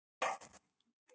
Nei, ekki beint.